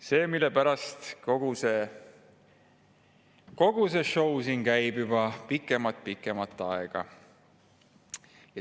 Selle pärast kogu see sõu siin juba pikemat aega käib.